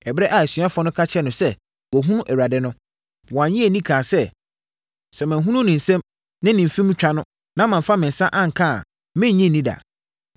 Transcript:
Ɛberɛ a asuafoɔ no ka kyerɛɛ no sɛ, “Wɔahunu Awurade no!” Wannye anni kaa sɛ, “Sɛ manhunu ne nsam ne ne mfem twa no na mamfa me nsa anka a, merennye nni da.”